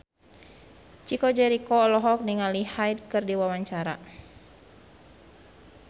Chico Jericho olohok ningali Hyde keur diwawancara